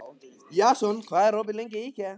Jason, hvað er opið lengi í IKEA?